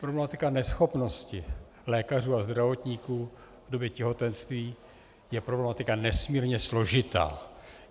Problematika neschopnosti lékařů a zdravotníků v době těhotenství je problematika nesmírně složitá.